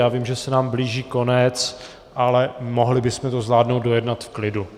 Já vím, že se nám blíží konec, ale mohli bychom to zvládnout dojednat v klidu.